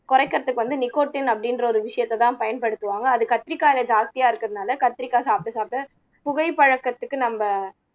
குறைக்கிறதுக்கு வந்து நிக்கோட்டின் அப்படின்ற ஒரு விஷயத்தைதான் பயன்படுத்துவாங்க அது கத்திரிக்காயிலே ஜாஸ்தியா இருக்கிறதுனால கத்திரிக்காய் சாப்பிட சாப்பிட புகை பழக்கத்துக்கு நம்ம